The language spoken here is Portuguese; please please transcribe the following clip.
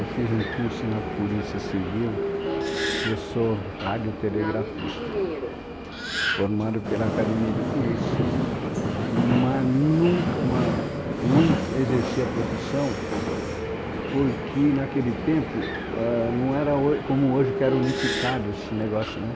Eu fiz um curso na Polícia Civil, eu sou radiotelegrafista, formado pela Academia de Polícia, mas nunca, mas não exerci a profissão porque naquele tempo não era ho, como hoje que era unificado esse negócio, né?